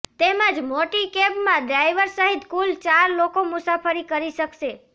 તેમજ મોટી કેબમાં ડ્રાઇવર સહિત કુલ ચાર લોકો મુસાફરી કરી શકશે